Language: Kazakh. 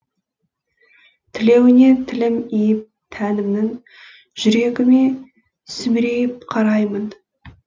тілеуіне тілім иіп тәнімнің жүрегіме сүмірейіп қараймын